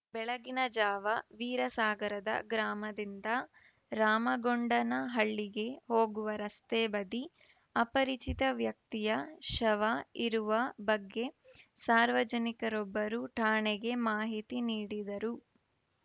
ಬೆಳಗಿನ ಜಾವ ವೀರಸಾಗರದ ಗ್ರಾಮದಿಂದ ರಾಮಗೊಂಡನಹಳ್ಳಿಗೆ ಹೋಗುವ ರಸ್ತೆ ಬದಿ ಅಪರಿಚಿತ ವ್ಯಕ್ತಿಯ ಶವ ಇರುವ ಬಗ್ಗೆ ಸಾರ್ವಜನಿಕರೊಬ್ಬರು ಠಾಣೆಗೆ ಮಾಹಿತಿ ನೀಡಿದರು